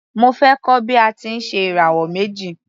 Mo fẹ́ kọ́ bí a ti ń ṣe ìràwọ̀ méjì.